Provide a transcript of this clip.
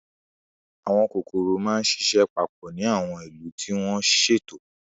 Àwọn kòkòrò máa ń ṣiṣẹ́ papọ̀ ní àwọn ìlú tí wọ́n ṣètò.